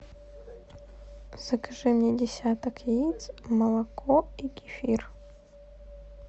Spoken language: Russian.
закажи мне десяток яиц молоко и кефир